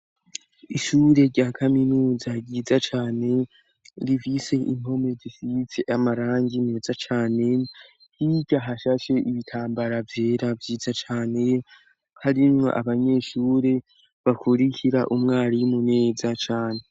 Ishure rya kaminuza ryiza cane rivise impome zisiyize amarangi meza cane hirya hashashe ibitambara vyera vyiza cane harimwo abanyeshure bakurikira umwarimu neza cane.